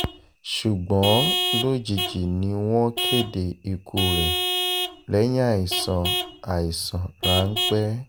ṣùgbọ́n lójijì ni wọ́n kéde ikú rẹ̀ lẹ́yìn àìsàn àìsàn ráńpẹ́